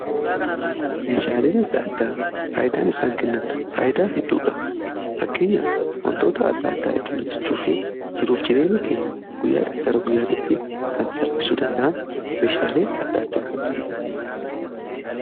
meeshaaleen adda addaa faayidaan isaan kennan faayyidaa hedduudha. fakkeenyaf wantoota adda addaa ittiin hojjechuu fi jiruuf jireenya keenya guyyaa gara guyyaati kan salphisuu danda'an meeshaalee adda addaa kan itti naqan.